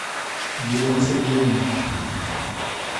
елена сергеевна